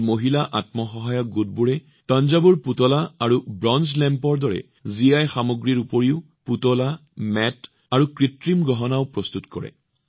এই মহিলা আত্মসহায়ক গোটবোৰে থাঞ্জাউৰ পুতলা আৰু ব্ৰঞ্জ লেম্পৰ দৰে জিআই সামগ্ৰীৰ উপৰিও পুতলা মেট আৰু কৃত্ৰিম গহণা প্ৰস্তুত কৰে